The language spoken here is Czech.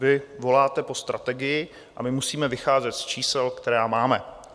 Vy voláte po strategii a my musíme vycházet z čísel, která máme.